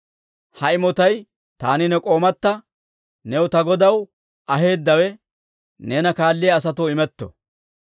Ha imotay taani ne k'oomatta new ta godaw aheeddawe neena kaalliyaa asatoo imetto.